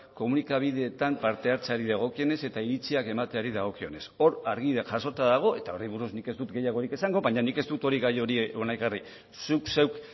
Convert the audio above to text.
komunikabideetan parte hartzeari dagokionez eta iritziak emateari dagokionez hor argi jasota dago eta horri buruz nik ez dut gehiagorik esango baina nik ez dut gai hori hona ekarri zuk zeuk